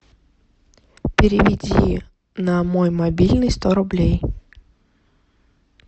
переведи на мой мобильный сто рублей